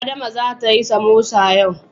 Adama zata yi samosa yau.